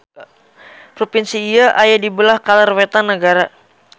Propinsi ieu aya di beulah kaler-wetan nagara.